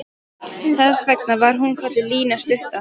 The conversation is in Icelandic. Þess vegna var hún kölluð Lína stutta.